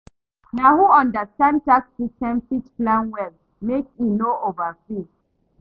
Na who understand tax system fit plan well make e no overpay.